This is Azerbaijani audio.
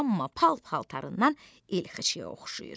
Amma pal-paltarından ilxıçıya oxşayır.